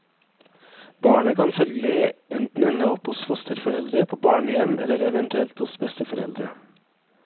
Barnet kan følgelig enten ende opp hos fosterforeldre, på barnehjem, eller eventuelt hos besteforeldre.